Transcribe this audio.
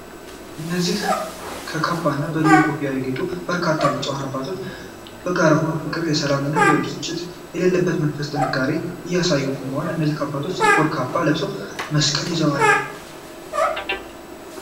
እነዚህ በካባና በልዩ ኮፍያ ያጌጡ በርካታ ብፁዓን አባቶች በጋራ ሆነው የፍቅር፣ የሰላም እና ብስጭት የሌለበት መንፈሳዊ ጥንካሬን እያሳዩ ቆመዋል። እነዚህ አባቶች ጥቁር ካባ ለብሰው መስቀል ይዘዋል።